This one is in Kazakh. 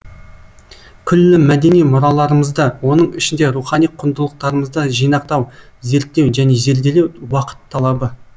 күллі мәдени мұраларымызды оның ішінде рухани құндылықтарымызды жинақтау зерттеу мен зерделеу уақыт талабы